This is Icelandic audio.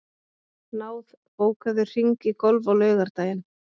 Náð, bókaðu hring í golf á laugardaginn.